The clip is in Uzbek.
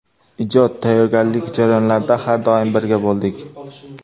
Ijod, tayyorgarlik jarayonlarida har doim birga bo‘ldik.